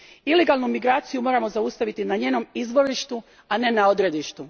Ilegalnu migraciju moramo zaustaviti na njenom izvorištu, a ne na odredištu.